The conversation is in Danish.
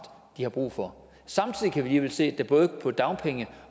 de har brug for samtidig kan vi se at der både på dagpenge